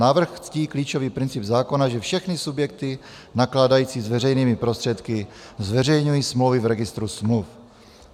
Návrh ctí klíčový princip zákona, že všechny subjekty nakládající s veřejnými prostředky zveřejňují smlouvy v registru smluv.